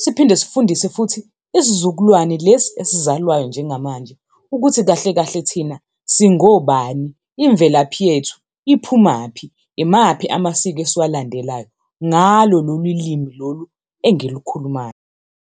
Siphinde sifundise futhi isizukulwane lesi esizalwayo njengamanje, ukuthi kahle kahle thina singobani, imvelaphi yethu iphumaphi, imaphi amasiko esiwalandelayo, ngalo lolu limi lolu engilikhulumayo.